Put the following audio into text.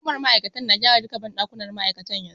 Hukumar ma'aikatar na gyara duka banɗakunan ma'aikatar yanzu.